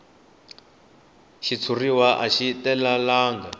xitshuriwa a xi talelangi